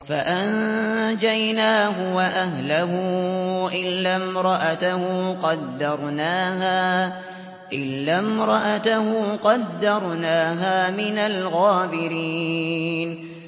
فَأَنجَيْنَاهُ وَأَهْلَهُ إِلَّا امْرَأَتَهُ قَدَّرْنَاهَا مِنَ الْغَابِرِينَ